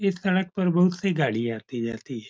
इस सड़क पर बहोत सी गाड़ियां आती जाती है।